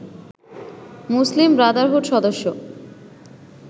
মুসলিম Brotherhood সদস্য